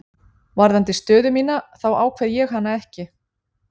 Varðandi stöðu mína þá ákveð ég hana ekki.